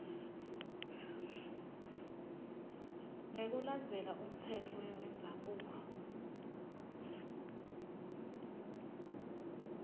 ngekulandzela umtsetfo wendzabuko